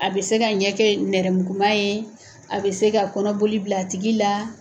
A bɛ se ka ɲɛ ke nɛrɛmuguma ye, a bɛ se ka kɔnɔboli bil'a tigi la